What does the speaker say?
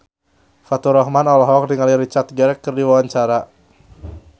Faturrahman olohok ningali Richard Gere keur diwawancara